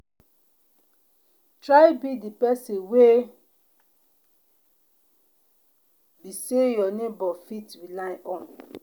try be person wey be say your neighbor fit rely on